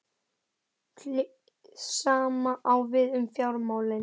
Hið sama á við um fjármálin.